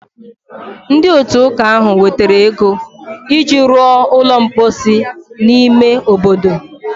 Ndị otu ụka ahụ wetara ego iji ruo ụlọ mposi n’ime obodo